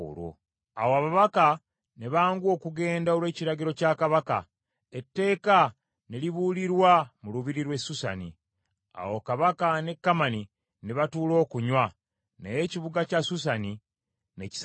Awo ababaka ne banguwa okugenda olw’ekiragiro kya Kabaka, etteeka ne libuulirwa mu lubiri lw’e Susani. Awo Kabaka ne Kamani ne batuula okunywa; naye ekibuga kya Susani ne kisasamala.